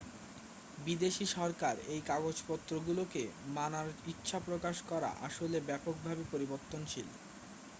বিদেশী সরকার এই কাগজপত্রগুলোকে মানার ইচ্ছা প্রকাশ করা আসলে ব্যাপকভাবে পরিবর্তনশীল